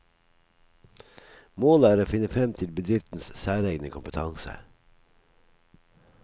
Målet er å finne frem til bedriftens særegne kompetanse.